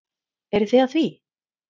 Eruð þið að því?